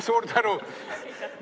Suur tänu!